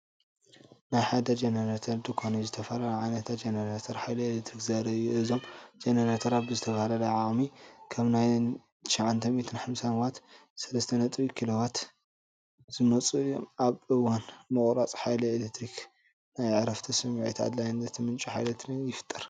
ናይ ሓደ ጀነሬተር ድኳን ኮይኑ፡ ዝተፈላለዩ ዓይነታት ጀነሬተራት ሓይሊ ኤሌክትሪክ ዘርኢ እዩ። እዞም ጀነሬተራት ብዝተፈላለየ ዓቕሚ ከም 950 ዋትን 3.7 ኪሎዋትን ዝመጹ እዮም። ኣብ እዋን ምቁራጽ ሓይሊ ኤሌክትሪክ ናይ ዕረፍቲ ስምዒትን ኣድላይነት ምንጪ ሓይሊ ኤሌክትሪክን ይፈጥር።